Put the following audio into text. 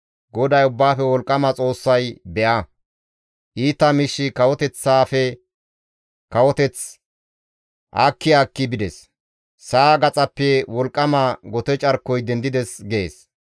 GODAY Ubbaafe Wolqqama Xoossay, «Be7a, iita miishshi kawoteththaafe kawoteth aakki aakki bides; sa7a gaxappe wolqqama gote carkoy dendides» gees.